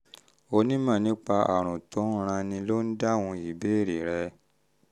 onímọ̀ nípa àrùn tó ń ranni ló ń dáhùn ìbéèrè rẹ